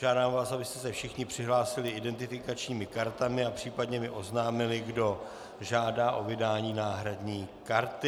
Žádám vás, abyste se všichni přihlásili identifikačními kartami a případně mi oznámili, kdo žádá o vydání náhradní karty.